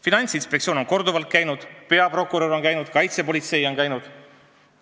Finantsinspektsiooni inimesed on korduvalt kohal käinud, peaprokurör on käinud, kaitsepolitsei on käinud.